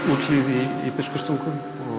Úthlíð í Biskupstungum